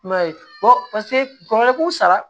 I m'a ye paseke dɔgɔkun saba